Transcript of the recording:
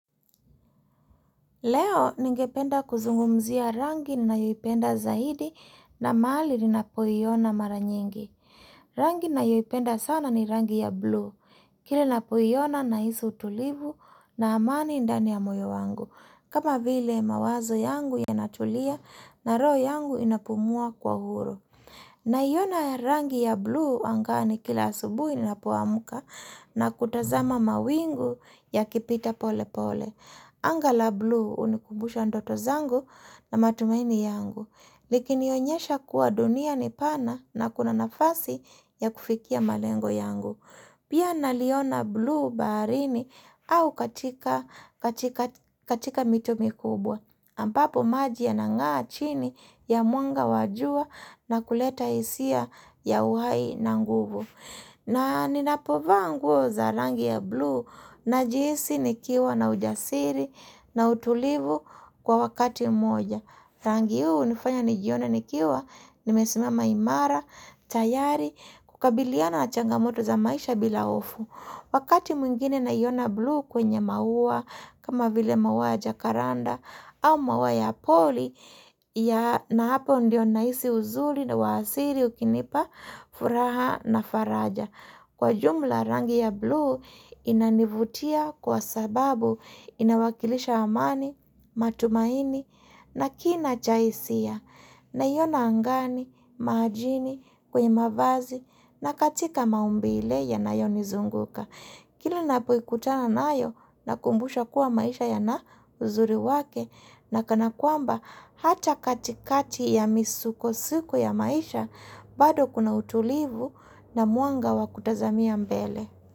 Leo ningependa kuzungumzia rangi ninayoipenda zaidi na mahali ninapoiona mara nyingi. Rangi ninayoipenda sana ni rangi ya blue. Kila napoiona nahisi utulivu na amani ndani ya moyo wangu. Kama vile mawazo yangu yanatulia na roho yangu inapumua kwa huru. Naiona rangi ya blue angani kila asubuhi ninapoamka na kutazama mawingu yakipita pole pole. Anga la blue hunikumbusha ndoto zangu na matumaini yangu, likinionyesha kuwa dunia ni pana na kuna nafasi ya kufikia malengo yangu. Pia naliona blue baharini au katika mito mikubwa, ambapo maji yanangaa chini ya mwanga wa jua na kuleta hisia ya uhai na nguvu. Na ninapo vaa za rangi ya blue najihisi nikiwa na ujasiri na utulivu kwa wakati moja. Rangi huu unifanya nijione nikiwa nimesimama imara, tayari, kukabiliana na changamoto za maisha bila hofu. Wakati mwingine naiona blue kwenye maua kama vile maua ya jakaranda au maua ya pori na hapo ndio nahisi uzuri na uwasiri ukinipa furaha na faraja. Kwa jumla rangi ya blue inanivutia kwa sababu inawakilisha amani, matumaini na kina cha hisia naiona angani, majini, kwenye mavazi na katika maumbile yanayonizunguka. Kila ninapoikutana nayo nakumbusha kuwa maisha yana uzuri wake na kana kwamba hata katikati ya misukosuko ya maisha bado kuna utulivu na mwanga wakutazamia mbele.